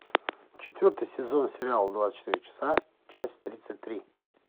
четвертый сезон сериала двадцать четыре часа часть тридцать три